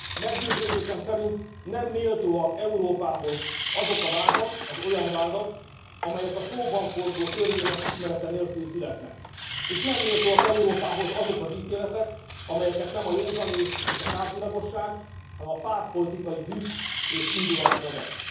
Meggyőződésem szerint nem méltóak Európához az olyan vádak, amelyek a szóban forgó törvények ismerete nélkül születnek, és nem méltóak Európához azok az ítéletek, amelyeket nem a józan ész és a tárgyilagosság, hanem a pártpolitikai düh és indulat vezet.